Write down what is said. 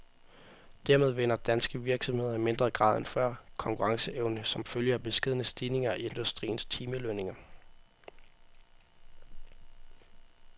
Dermed vinder danske virksomheder i mindre grad end før konkurrenceevne som følge af beskedne stigninger i industriens timelønninger.